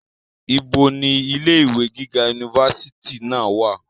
ibo ni ilé ìwé gíga unifásitì náà wà?